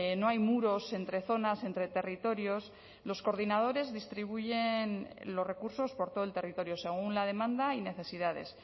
no hay muros entre zonas entre territorios los coordinadores distribuyen los recursos por todo el territorio según la demanda y necesidades